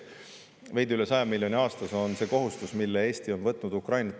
Veidi üle 100 miljoni euro aastas on see Ukraina aitamise kohustus, mille Eesti on võtnud.